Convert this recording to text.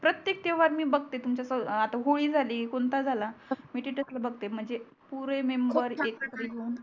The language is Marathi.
प्रत्येक त्यौहार मी बगते तुमच्या सबोत आता होळी झाली कोणता झाला मी स्टेटस ला बगते म्हणजे पुरे मेंबर एकत्र येऊन खूप छान